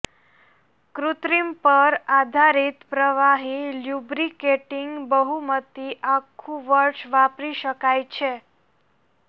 કૃત્રિમ પર આધારિત પ્રવાહી લ્યુબ્રિકેટિંગ બહુમતી આખું વર્ષ વાપરી શકાય છે